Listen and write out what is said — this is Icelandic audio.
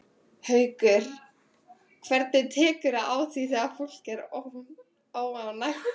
Haukur: Hvernig tekurðu á því þegar fólk er óánægt?